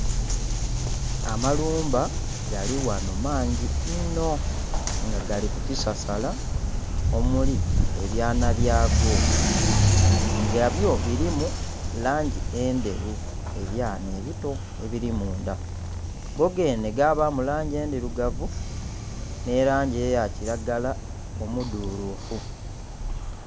Amalumba gali ghano mangi inho nga gali ku kisasala omuli ebyana byago. Nga byo bilimu langi endheru ebyana ebito ebili mundha. Go geenhe gabaamu langi endhilugavu nh'elangi eya kilagala omudhuluufu.